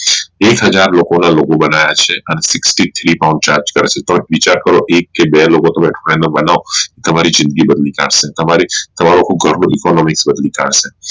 એક હાજર લોકો ના logo બનવ્યા છે અને Sixty three pounds charge કરે છે તો વિચાર કરો એક કે બે લોકો તન્મે બનાવો તો તમારી જિંદગી બદલી કાઢશે તમારી તમારો તમારી શોધી કાઢશે